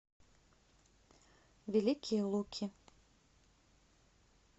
великие луки